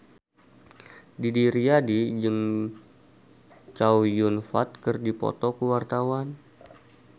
Didi Riyadi jeung Chow Yun Fat keur dipoto ku wartawan